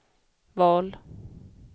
val